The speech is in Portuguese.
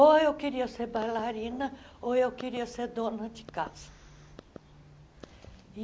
Ou eu queria ser bailarina ou eu queria ser dona de casa.